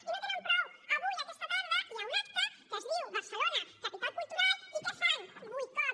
i no en tenen prou avui aquesta tarda hi ha un acte que es diu barcelona capital cultural i què fan boicot